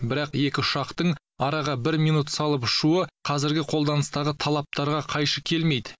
бірақ екі ұшақтың араға бір минут салып ұшуы қазіргі қолданыстағы талаптарға қайшы келмейді